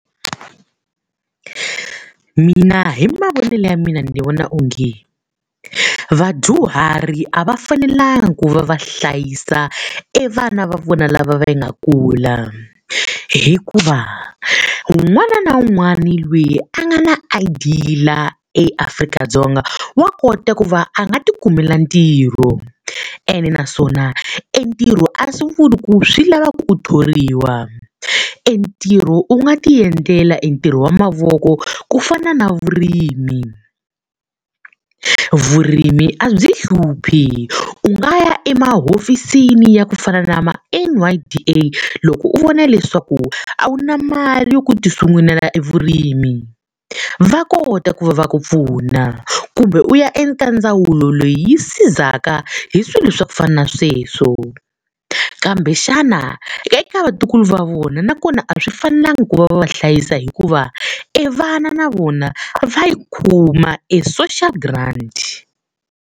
Mina hi mavonele ya mina ni vona onge, vadyuhari a va fanelangi ku va va hlayisa evana va vona lava va nga kula. Hikuva un'wana na un'wana loyi a nga na I_D laha eAfrika-Dzonga wa kota ku va a nga tikumela ntirho, ene naswona entirho a swi vuli ku swi lava ku u thoriwa. Entirho u nga ti endlela e ntirho wa mavoko ku fana na vurimi. Vurimi a byi hluphi u nga ya emahofisini ya ku fana na ma-N_Y_D_A loko u vona leswaku a wu na mali yo ku tisungulela evurimi, va kota ku va ku pfuna. Kumbe u ya eka ndzawulo leyi sizaka hi swilo swa ku fana na sweswo, kambe xana eka vatukulu va vona nakona a swi fanelanga ku va va hlayisa hikuva, evana na vona va yi kuma e-social grant.